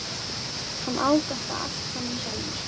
Hann á þetta allt saman sjálfur.